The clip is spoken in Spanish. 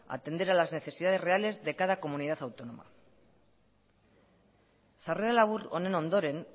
atender a las necesidades reales de cada comunidad autónoma sarrera labur honen ondoren